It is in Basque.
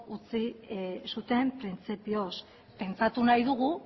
utzi zuten printzipioz pentsatu nahi dugu